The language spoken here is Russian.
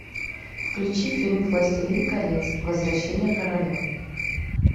включи фильм властелин колец возвращение короля